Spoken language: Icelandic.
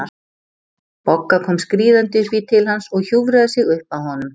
Bogga kom skríðandi upp í til hans og hjúfraði sig upp að honum.